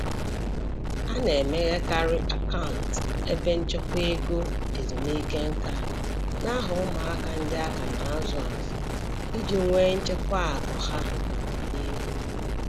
A na-emeghekarị akant ebe nchekwa ego ezumike nkā n'aha ụmụaka ndị aka na-azụ azụ iji nwee nchekwa akụ ha n'ọdịnihu.